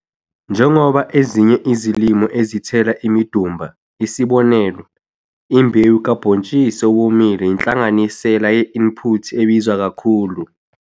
Njengoba ezinye izilimo ezithela imidumba, isib. imbewu kabhontshisi owomile yinhlanganisela ye-input ebiza akakhulu.